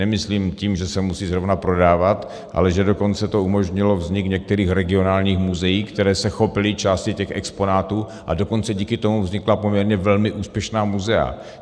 Nemyslím tím, že se musí zrovna prodávat, ale že dokonce to umožnilo vznik některých regionálních muzeí, která se chopila části těch exponátů, a dokonce díky tomu vznikla poměrně velmi úspěšná muzea.